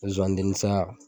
Nzozaniden saya